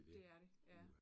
Det er det. Ja